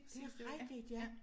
Det er rigtigt ja